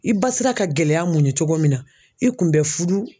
I ba sera ka gɛlɛya muɲu cogo min na i kun bɛ furu